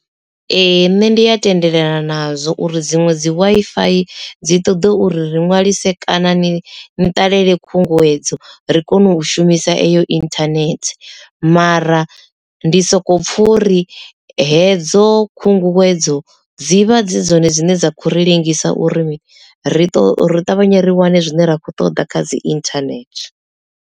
Ee nṋe ndi ya tendelana nazwo uri dziṅwe dzi Wi-Fi dzi ṱoḓa uri ri ṅwalise kana ni ṱalele khunguwedzo ri kone u shumisa eyo internet mara ndi soko pfha uri hedzo khunguwedzo dzivha dzi dzone dzine dza khou ri ḽengisa uri ri to ri ṱavhanye ri wane zwine ra kho ṱoḓa kha dzi internet.